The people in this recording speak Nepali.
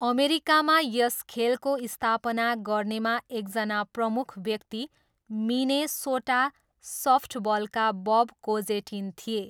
अमेरिकामा यस खेलको स्थापना गर्नेमा एकजना प्रमुख व्यक्ति मिनेसोटा सफ्टबलका बब कोजेटिन थिए।